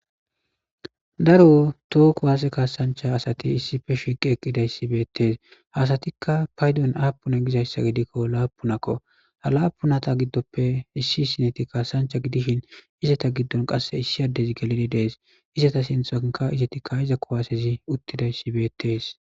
Daro toho kuwase kasancha asati issipe shiqidi eqidaysi betes ha asatika paydon apune gizaysa gidiko lapunako ha lapunata gidope issi issi geti kasancha gidishin izata gidon qase issi adezi gelidi de'es izata sintanka izeti ka'za kuwasezi utidaysi betes.